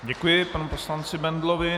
Děkuji panu poslanci Bendlovi.